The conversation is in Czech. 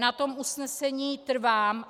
Na tom usnesení trvám.